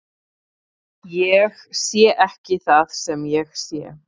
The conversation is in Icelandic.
Ég sé ekki það sem ég sé.